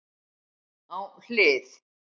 Á hlið